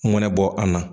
Ŋɛɲɛ bɔ an na